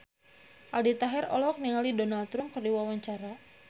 Aldi Taher olohok ningali Donald Trump keur diwawancara